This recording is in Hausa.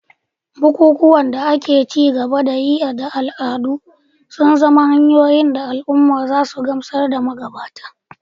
Bukukuwan da ake ci gaba da yi da al'adu suna zama hanyoyin da al'umma za su gamsar da magabata